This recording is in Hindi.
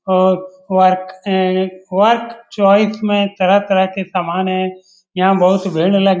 और वर्क वर्क चॉइस में तरह-तरह के समान है। यहाँ बहुत भीड़ --